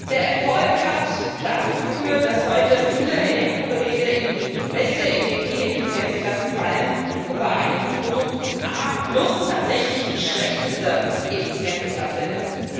Der Erfolg hat dazu geführt, dass heute viele Elektrogeräte in die beste Energieeffizienzklasse fallen und bei einigen Produkten A tatsächlich die schlechteste Effizienzklasse ist.